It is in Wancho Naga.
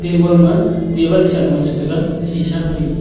eboma table ma table kusa lung cha taga sisa pa dingpa.